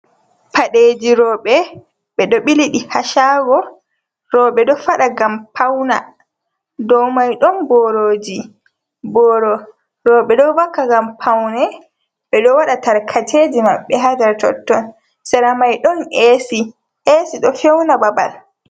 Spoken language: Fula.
Paɗeeji roɓe ɓe ɗo ɓiliɗi haa shaago. Roɓe ɗo faɗa ngam pauna, do mai ɗon borooji. Boro roɓe ɗo vakka ngam paune, ɓe ɗo waata tarkaceji maɓɓe haa nder totton. Sera mai ɗon esi, esi ɗo feuna babal.